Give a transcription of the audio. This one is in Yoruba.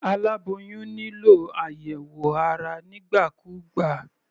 Aláboyún nílò àyẹ̀wò ara nígbà kúgbà.